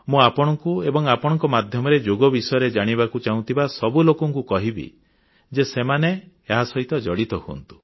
ମୁଁ ଆପଣଙ୍କୁ ଏବଂ ଆପଣଙ୍କ ମାଧ୍ୟମରେ ଯୋଗ ବିଷୟରେ ଜାଣିବାକୁ ଚାହୁଁଥିବା ସବୁ ଲୋକଙ୍କୁ କହିବି ଯେ ସେମାନେ ଏହା ସହିତ ଜଡ଼ିତ ହୁଅନ୍ତୁ